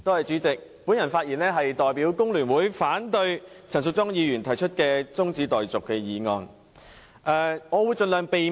主席，我發言是代表工聯會反對陳淑莊議員提出的中止待續議案。